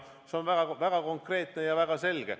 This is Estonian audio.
See on väga konkreetne ja väga selge.